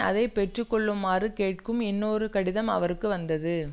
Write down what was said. அதை பெற்று கொள்ளுமாறு கேட்கும் இன்னொரு கடிதம் அவருக்கு வந்தது